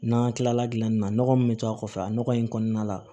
N'an kilala dilanni na nɔgɔ min bɛ to a kɔfɛ a nɔgɔ in kɔnɔna la